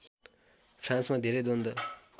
फ्रान्समा धेरै द्वन्द